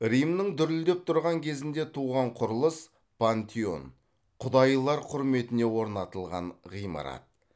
римнің дүрілдеп тұрған кезінде туған құрылыс пантеон құдайлар құрметіне орнатылған ғимарат